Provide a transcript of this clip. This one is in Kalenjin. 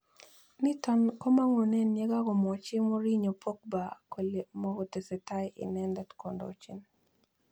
Niton komangunen yegogomwochi Mourinho Pogba kole mogotesetai inendet kondochin.